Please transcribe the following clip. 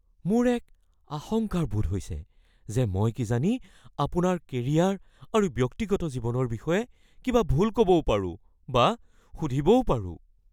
মোৰ এক আশংকাৰ বোধ হৈছে যে মই কিজানি আপোনাৰ কেৰিয়াৰ আৰু ব্যক্তিগত জীৱনৰ বিষয়ে কিবা ভুল ক'বও পাৰো বা সুধিবও পাৰোঁ।